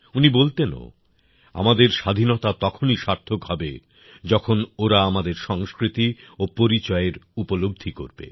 উনি বলতেনও আমাদের স্বাধীনতা তখনই সার্থক হবে যখন ওরা আমাদের সংস্কৃতি ও পরিচয়ের উপলব্ধি করবে